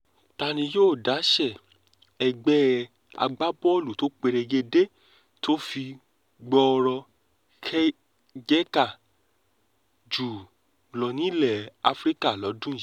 ta ni yóò dáṣẹ́ ẹgbẹ́ agbábọ́ọ̀lù tó perégedé tó fi gbọ́rọ̀ jẹ̀ka jù lọ nílẹ̀ afrika lọ́dún yìí